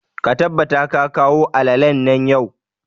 Ka tabbata ka kawo alalalen nan yau!